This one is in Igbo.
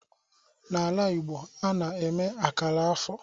N'ala Igbo, a na-eme akara afọ